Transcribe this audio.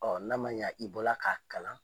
Ɔɔ n'a ma ɲa i bɔra ka kalan